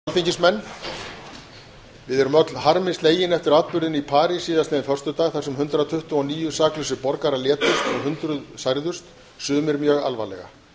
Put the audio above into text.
háttvirtir alþingismenn við erum öll harmi slegin eftir atburðina í parís síðastliðinn föstudag þar sem hundrað tuttugu og níu saklausir borgarar létust og hundruð særðust sumir mjög alvarlega